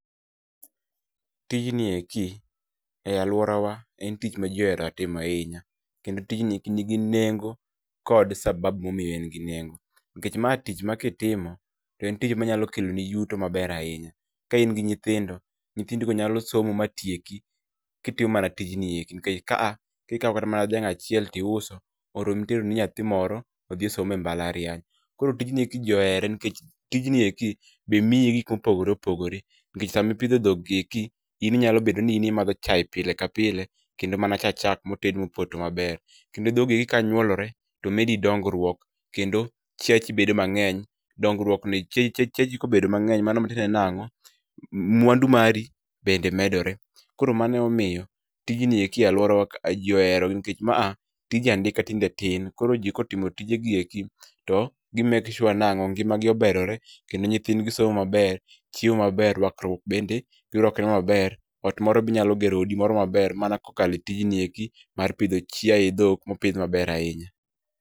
Tijni eki e alworawa en tich ma ji ohero timo ahinya, kendo tijni nigi nengo kod sababu momiyo en gi nengo, nikech ma tich ma kitimo to en tich manyalo kelo ni yuto maber ahinya. Ka in gi nyithindo, nyithindigo nyalo somo matieki kitimo mana tijni eki nikech ka a kikawo kata mana dhiang' achiel tiuso, oromi teroni nyathi moro odhi osom e mbalariny. Koro tijni eki ji ohere nikech tijni eki be miyi gik mopogore opogore, nikech sami pidho dhoggi eki in inyalo bedo ni in imadho chaye pile ka pile kendo mana cha chak moted mopoto maber. Kendo dhogi kanyuolore, to medi dongruok, kendo chiachi bedo mang'eny, dongruok ni chiache ji kobedo mang'eny mano tiende nang'o, mwandu mari bende medorew. Koro mano emomiyo tijni eki e alworawa kae ji ohero nikech ma a tij andika tinde tin, koro ji ka otimo tijegi eki, to gi make sure nang'o, ngimagi oberore kendo nyithindgi somo maber, chiemo maber, rwakruok bende girwakre maber. Ot moro be inyalo gero odi moro maber mana kokalo e tijni eki mar pidho chiaye, dhok mopidh maber ahinya.